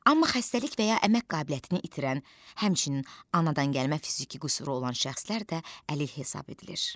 Amma xəstəlik və ya əmək qabiliyyətini itirən, həmçinin anadangəlmə fiziki qüsuru olan şəxslər də əlil hesab edilir.